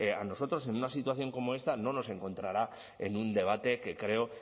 a nosotros en una situación como esta no nos encontrará en un debate que creo